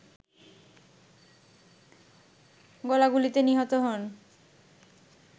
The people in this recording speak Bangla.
গোলাগুলিতে নিহত হন